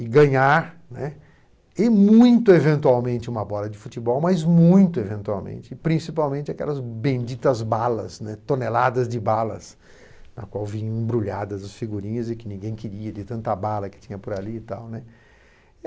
e ganhar, né, e muito eventualmente, uma bola de futebol, mas muito eventualmente, principalmente aquelas benditas balas, né, toneladas de balas, né, na qual vinham embrulhadas as figurinhas e que ninguém queria, de tanta bala que tinha por ali e tal, né.